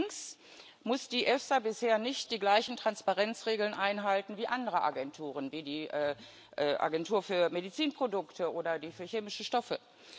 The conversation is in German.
Allerdings muss die EFSA bisher nicht die gleichen Transparenzregeln einhalten wie andere Agenturen, wie die Agentur für Medizinprodukte oder die für chemische Stoffe.